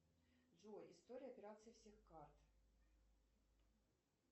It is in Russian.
джой история операций всех карт